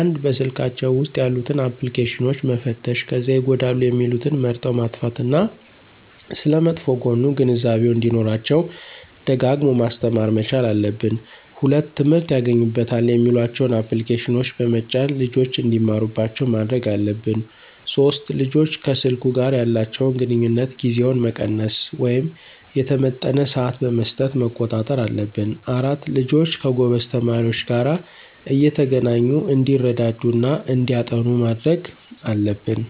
፩) በስልካቸው ውስጥ ያሉትን አፕልኬሽኖች መፈተሽ ከዚያ ይጎዳሉ የሚሉትን መርጠው ማጥፋት እና ስለመጥፎ ጎኑ ግንዛቤው እንዲኖራቸው ደጋግሞ ማስተማር መቻል አለብን። ፪) ትምህርት ያገኙበታል የሚሏቸውን አፕልኬሽኖች በመጫን ልጆች እንዲማሩባቸው ማድረግ አለብን። ፫) ልጆች ከሰልኩ ጋር ያላቸውን ግንኙነት ጊዜውን መቀነስ ወይም የተመጠነ ስዓት በመስጠት መቆጣጠር አለብን። ፬) ልጆች ከጎበዝ ተማሪዎች ጋር እየተገናኙ እንዲረዳዱ እና እንዲያጠኑ ማድረግ አለብን